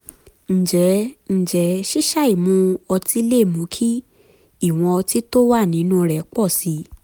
ǹjẹ́ ǹjẹ́ ṣíṣàì mu ọtí lè mú kí ìwọ̀n ọtí tó wà nínú rẹ̀ pọ̀ sí i?